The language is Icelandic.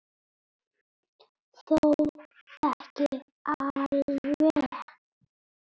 Þó ekki alveg.